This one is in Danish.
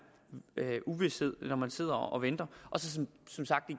uvished når man sidder og venter så